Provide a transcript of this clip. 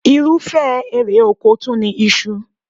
Irúfẹ́ èrè oko tún ni iṣu